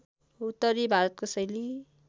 उत्तरी भारतको शैली